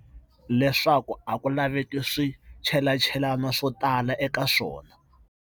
Leswaku a ku laveki swichelachelani swo tala eka swona.